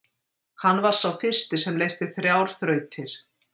Hann var sá fyrsti sem leysti þrjár þrautir.